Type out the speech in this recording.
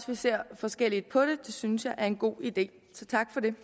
vi ser forskelligt på det synes jeg er en god idé så tak for det